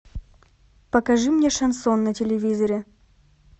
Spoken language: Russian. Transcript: покажи мне шансон на телевизоре